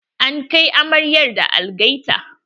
An kai amaryar da algaita.